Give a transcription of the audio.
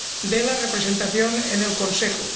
de la representación en el Consejo.